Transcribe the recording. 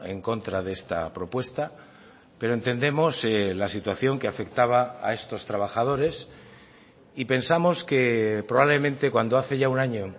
en contra de esta propuesta pero entendemos la situación que afectaba a estos trabajadores y pensamos que probablemente cuando hace ya un año